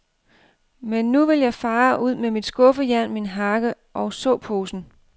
Men nu vil jeg fare ud med mit skuffejern, min hakke og såposen.